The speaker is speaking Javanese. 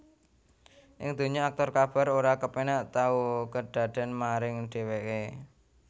Ing donya aktor Kabar ora kepénak tau kedadèn maring dheweké